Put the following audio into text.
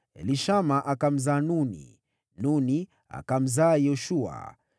Elishama akamzaa Nuni, Nuni akamzaa Yoshua.